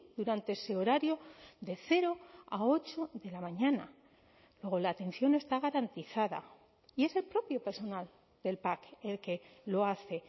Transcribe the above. durante ese horario de cero a ocho de la mañana luego la atención está garantizada y es el propio personal del pac el que lo hace